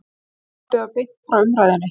Sjónvarpað var beint frá umræðunni.